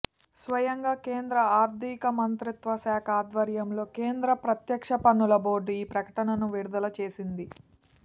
స్వయంగా కేంద్ర ఆర్థిక మంత్రిత్వ శాఖ ఆధ్వర్యంలో కేంద్ర ప్రత్యక్ష పన్నుల బోర్డు ఈ ప్రకటనను విడుదల చేసింది